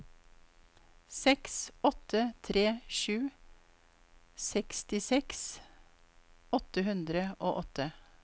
seks åtte tre sju sekstiseks åtte hundre og åtte